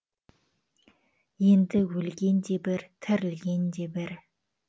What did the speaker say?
енді өлген де бір тірілген де бір